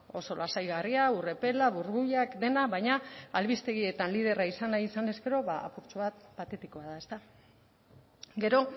oso lasaigarria ur epela burbuilak dena baina albistegietan liderra izan nahi izanez gero apurtxo bat patetikoa da ezta gero